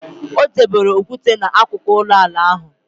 O debere okwute n' akụkụ ụlọala ahụ.